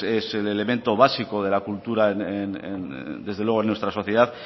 es el elemento básico de la cultura en desde luego en nuestra sociedad